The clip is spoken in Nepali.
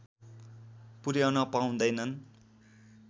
पुर्‍याउन पाउँदैनन्